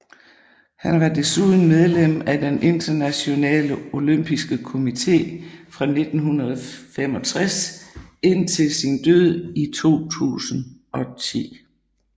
Han var desuden medlem af den Internationale Olympiske Komité fra 1965 indtil sin død i 2010